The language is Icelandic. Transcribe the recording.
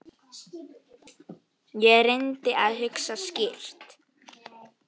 Ég reyndi að hugsa skýrt.